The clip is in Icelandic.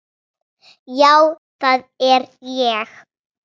Já það er ég